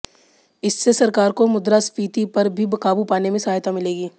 इससे सरकार को मुद्रास्फीति पर भी काबू पाने में सहायता मिलेगी